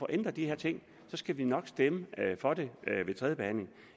ændret de her ting skulle vi nok stemme for det ved tredje behandling